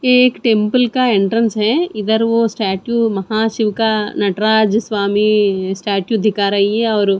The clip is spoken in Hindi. ये एक तिम्पल का एंट्रेंस है इधर वो स्टेच्यू महाशिव का नटराज स्वामी स्टेटू दिखा रही है और--